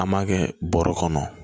An b'a kɛ bɔrɛ kɔnɔ